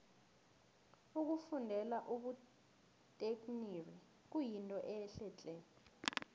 ukufundela ubutekniri kuyinto ehle tle